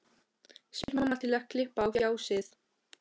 spyr mamma til að klippa á fjasið.